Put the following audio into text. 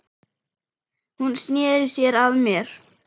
Hún sneri sér að mér.